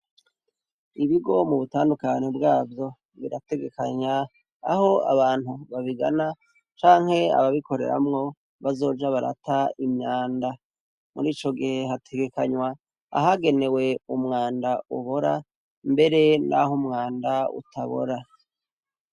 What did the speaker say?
Ibigo mubutandukane bwavyo birategekanya aho abantu babigana canke ababikoreramwo bazoja barata imyanda, muri ico gihe hategekanywa ahagenewe umwanda ubora mbere n'aho umwanda utabora.